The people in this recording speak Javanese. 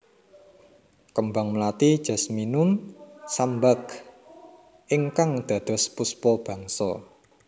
Kembang mlati Jasminum sambac ingkang dados Puspa Bangsa